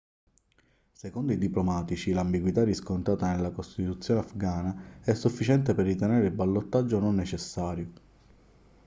secondo i diplomatici l'ambiguità riscontrata nella costituzione afghana è sufficiente per ritenere il ballottaggio non necessario